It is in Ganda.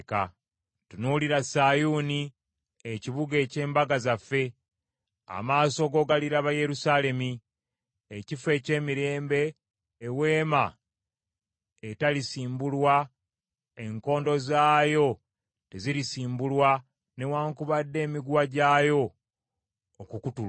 Tunuulira Sayuuni ekibuga eky’embaga zaffe, amaaso go galiraba Yerusaalemi, ekifo eky’emirembe, eweema etalisimbulwa enkondo zaayo tezirisimbulwa, newaakubadde emiguwa gyayo okukutulwa.